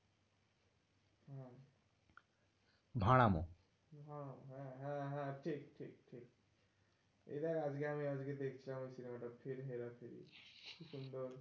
ভাঁড়ানো। হ্যাঁ হ্যাঁ ঠিক ঠিক ঠিক, এটা আজকে আমি আজকে দেখছিলাম cinema টা ফির হেরা ফেরি কিন্তু,